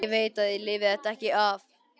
Ég veit að ég lifi þetta ekki af.